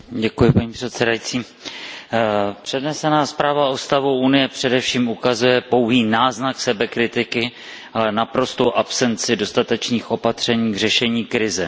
Paní předsedající, přednesená zpráva o stavu Unie především ukazuje pouhý náznak sebekritiky, ale naprostou absenci dostatečných opatření k řešení krize.